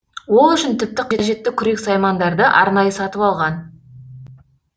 ол үшін тіпті қажетті күрек саймандарды арнайы сатып алған